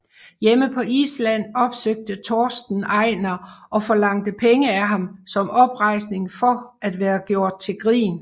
Hjemme på Island opsøgte Torsten Einar og forlangte penge af ham som oprejsning for at være gjort til grin